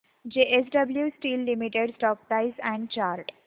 JSW steel limited stock price and chart